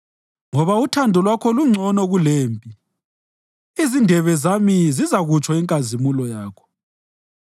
Ngoba uthando Lwakho lungcono kulempilo, izindebe zami zizakutsho inkazimulo Yakho.